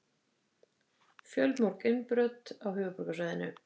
Fjölmörg innbrot á höfuðborgarsvæðinu